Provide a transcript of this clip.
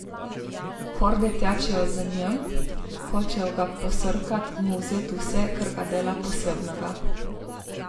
Horde tečejo za njim, hočejo ga posrkati, mu vzeti vse, kar ga dela posebnega.